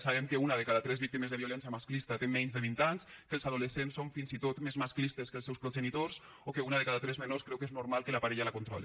sabem que una de cada tres víctimes de la violència masclista té menys de vint anys que els adolescents són fins i tot més masclistes que els seus progenitors o que una de cada tres menors creu que és normal que la parella la controli